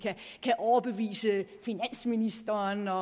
kan overbevise finansministeren og